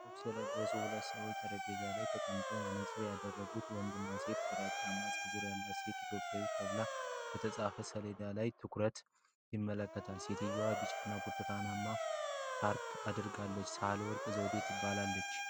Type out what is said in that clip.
ጥቁር ልብስ የለበሱ ሁለት ሰዎች ጠረጴዛ ላይ ተቀምጠዋል። መነጽር ያደረጉት ወንድና ሴት ግራጫማ ጸጉር ያላት ሴት "ኢትዮጵያ" ተብሎ በተጻፈበት ሰሌዳ ላይ አትኩረው ይመለከታሉ። ሴትየዋ ቢጫና ብርቱካናማ ሻርፕ አድርጋለች። ሳህለወርቅ ዘውዴ ትባላለች።